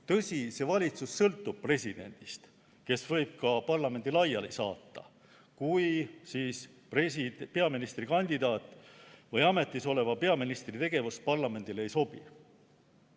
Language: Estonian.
Tõsi, see valitsus sõltub presidendist, kes võib ka parlamendi laiali saata, kui peaministrikandidaadi või ametisoleva peaministri tegevus parlamendile ei sobi.